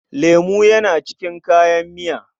Lemo yana cikin kayan miya.